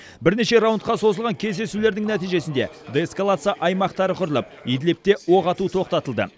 бірнеше раундқа созылған кездесулердің нәтижесінде деэскалация аймақтары құрылып идлибте оқ ату тоқтатылды